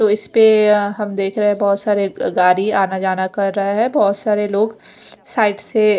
तो इसपे अ हम देखरे है बोहोत सारे अ गाड़ी आना जाना कर रा है बोहोत सारे लोग साइड से--